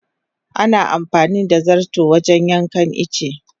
Ana amfani da zarto wajen yankan itace.